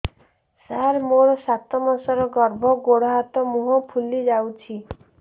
ସାର ମୋର ସାତ ମାସର ଗର୍ଭ ଗୋଡ଼ ହାତ ମୁହଁ ଫୁଲି ଯାଉଛି